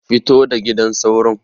Fito da gidan sauron.